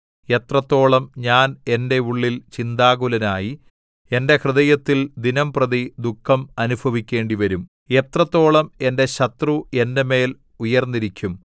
എത്രത്തോളം ഞാൻ എന്റെ ഉള്ളിൽ ചിന്താകുലനായി എന്റെ ഹൃദയത്തിൽ ദിനംപ്രതി ദുഃഖം അനുഭവിക്കേണ്ടിവരും എത്രത്തോളം എന്റെ ശത്രു എന്റെ മേൽ ഉയർന്നിരിക്കും